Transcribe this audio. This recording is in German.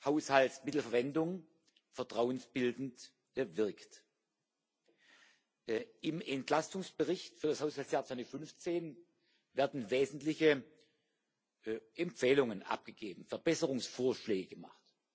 Haushaltsmittelverwendung vertrauensbildend wirkt. Im Entlastungsbericht für das Haushaltsjahr 2015 werden wesentliche Empfehlungen abgegeben, Verbesserungsvorschläge gemacht.